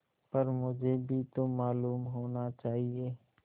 पर मुझे भी तो मालूम होना चाहिए